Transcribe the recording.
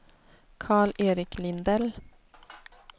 Karl-Erik Lindell